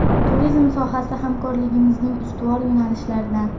Turizm sohasi hamkorligimizning ustuvor yo‘nalishlaridan.